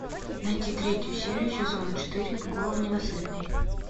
найти третью серию сезона четыре голан ненасытный